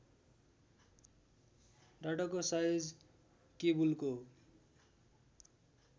डाटाको size केबुलको